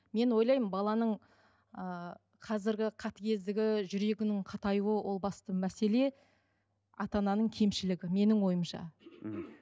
мен ойлаймын баланың ыыы қазіргі қатыгездігі жүрегінің қатаюы ол басты мәселе ата ананың кемшілігі менің ойымша мхм